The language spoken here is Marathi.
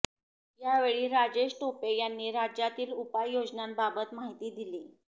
यावेळी राजेश टोपे यांनी राज्यातील उपाय योजनांबाबत माहिती दिली